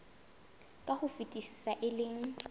ka ho fetisisa e leng